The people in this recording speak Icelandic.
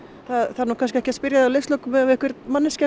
það þarf nú kannski ekki að spyrja að leikslokum ef einhver